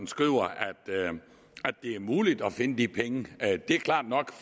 skriver at det er muligt at finde de penge det er klart nok